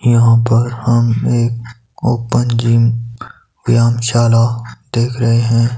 यहां पर हम एक ओपन जिम व्यायामशाला देख रहे हैं।